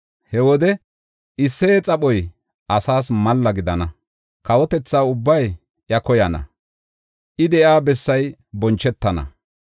He wode Isseye xaphoy asaas malla gidana; kawotetha ubbay iya koyana; I de7iya bessay bonchetana.